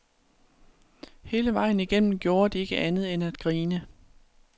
Hele vejen igennem gjorde de ikke andet end at grine.